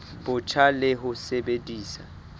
bo botjha le ho sebedisa